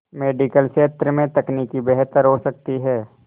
medical क्षेत्र में तकनीक बेहतर हो सकती है